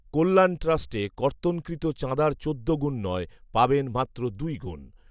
কল্যাণ ট্রাস্টে কর্তনকৃত চাঁদার চোদ্দ গুণ নয়, পাবেন মাত্র দুই গুণ